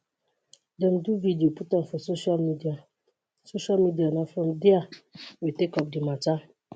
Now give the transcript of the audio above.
dem do video put am for social media social media na from dia we take up di mata